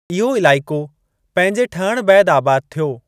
इहो इलाइक़ो पंहिंजे ठहिणु बैदि आबाद थियो।